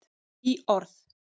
Hlý orð.